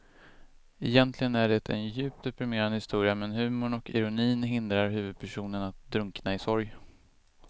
Egentligen är det en djupt deprimerande historia men humorn och ironin hindrar huvudpersonen att drunkna i sorg.